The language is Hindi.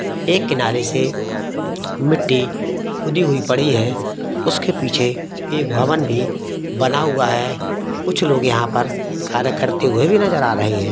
एक किनारे से मिट्टी खुदी हुई पड़ी है उसके पीछे एक भवन भी बना हुआ है कुछ लोग यहां पर कार्य करते हुए भी नजर आ रहे हैं।